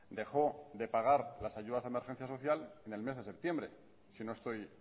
dejó de pagar las ayudas de emergencia social en el mes de septiembre si no estoy